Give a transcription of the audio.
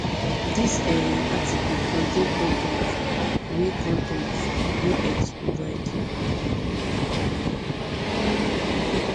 dis um article contain con ten t wey con ten t wey x provide